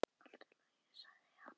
Allt í lagi, sagði hann.